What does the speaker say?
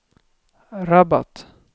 Rabat